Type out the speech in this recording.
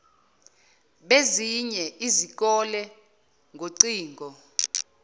bezinye izikole ngocingo